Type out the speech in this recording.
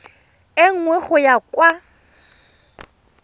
e nngwe go ya kwa